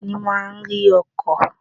Captain ní máà ń arí ọkọ̀.